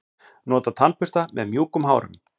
Nota tannbursta með mjúkum hárum.